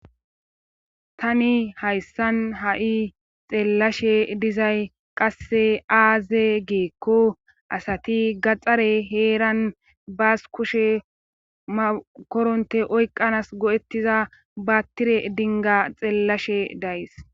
Tani hayssan ha'i xeellashshe dizay qasse aaze giikko asati gaxare heeran baas kushe makoronte oykqanas go'ettiza baattire dingga xeellashshe de'ayss